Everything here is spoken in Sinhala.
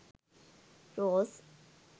rose